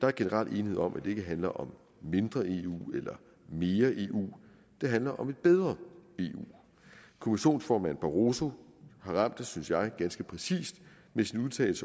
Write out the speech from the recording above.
der er generelt enighed om at det ikke handler om mindre eu eller mere eu det handler om et bedre eu kommissionsformand barroso har ramt det synes jeg ganske præcist med sin udtalelse